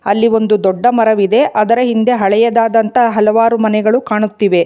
ಅಲ್ಲಿ ಒಂದು ದೊಡ್ಡ ಮರವಿದೆ ಅದರ ಹಿಂದೆ ಹಳೆಯದಾದಂತಹ ಹಲವಾರು ಮನೆಗಳು ಕಾಣುತ್ತಿವೆ.